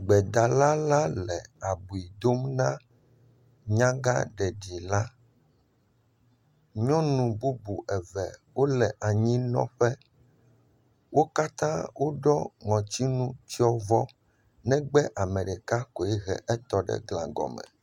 Gbedala la le abiu dom na nyaga ɖeɖi la, nyɔnu bubu eve wole anyinɔƒe wo katã woɖɔ ŋɔtinu tsiɔvɔ negbe ame ɖeka koe he etɔ ɖe gla gɔme.